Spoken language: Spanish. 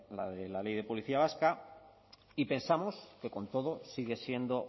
la de la ley de policía vasca y pensamos que con todo sigue siendo